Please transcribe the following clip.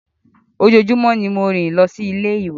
Ojoojumọ ni mo ń rin losi ile-iwe.